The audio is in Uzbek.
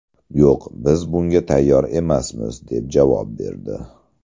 Yo‘q, biz bunga tayyor emasmiz, deb javob berdi.